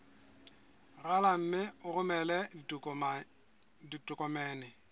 rala mme o romele ditokomene